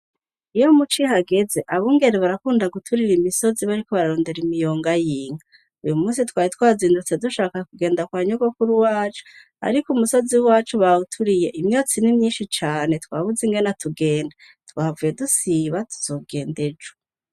iyo mucihageze, abungere barakunda guturira imisozi bariko bararondera imiyonga y'inka. uyu munsi twari twazindutse dushaka kugenda kwa nyogokuri wacu, ariko umusozi wacu bawuturiye, imyotsi n'imyinshi cane twabuze ingena tugenda. twavuye dusiba tuzogenda ejo.